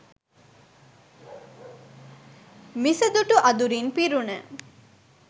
මිසදිටු අඳුරින් පිරුණ